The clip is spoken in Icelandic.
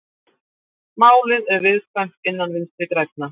Málið er viðkvæmt innan Vinstri grænna